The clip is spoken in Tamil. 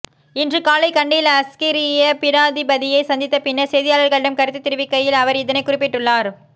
இன்று காலை கண்டியில் அஸ்கிரிய பீடாதிபதியை சந்தித்த பின்னர் செய்தியாளர்களிடம் கருத்து தெரிவிக்கையில் அவர் இதனை குறிப்பிட்டுள்ளார்